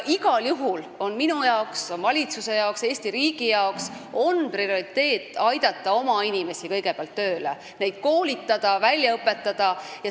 Igal juhul on minu, valitsuse ja Eesti riigi prioriteet aidata kõigepealt tööle oma inimesi, neid koolitada ja välja õpetada.